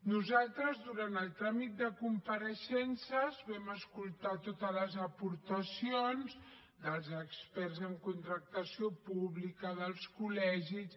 nosaltres durant el tràmit de compareixences vam escoltar totes les aportacions dels experts en contractació pública dels col·legis